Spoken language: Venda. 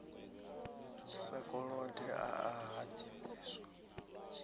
sa kolode a a hadzimiswa